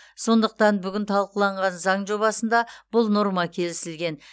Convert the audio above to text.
сондықтан бүгін талқыланған заң жобасында бұл норма келісілген